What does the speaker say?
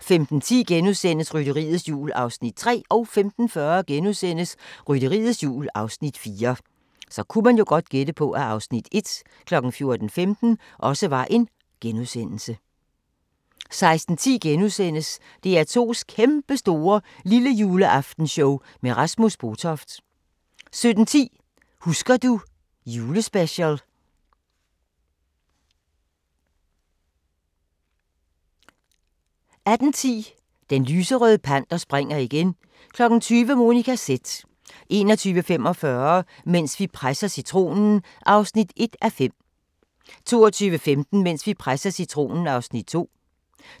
15:10: Rytteriets Jul (3:4)* 15:40: Rytteriets Jul (4:4)* 16:10: DR2's Kæmpestore Lillejuleaftenshow med Rasmus Botoft * 17:10: Husker du ... Julespecial 18:10: Den Lyserøde Panter springer igen 20:00: Monica Z 21:45: Mens vi presser citronen (1:5) 22:15: Mens vi presser citronen (2:5)